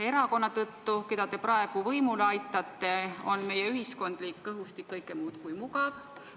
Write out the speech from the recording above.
Erakonna tõttu, keda te praegu võimule aitate, on meie ühiskondlik õhustik kõike muud kui mugav.